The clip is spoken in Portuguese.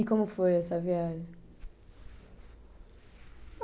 E como foi essa viagem?